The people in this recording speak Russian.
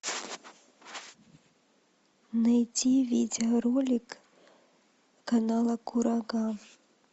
найти видеоролик канала курага